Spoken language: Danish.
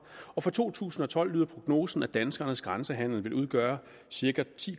og for to tusind og tolv lyder prognosen at danskernes grænsehandel vil udgøre cirka ti